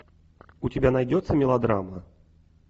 у тебя найдется мелодрама